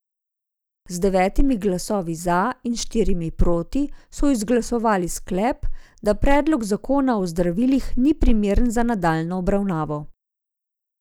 Z devetimi glasovi za in štirimi proti so izglasovali sklep, da predlog zakona o zdravilih ni primeren za nadaljnjo obravnavo.